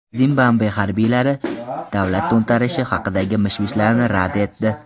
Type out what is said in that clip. Zimbabve harbiylari davlat to‘ntarishi haqidagi mish-mishlarni rad etdi.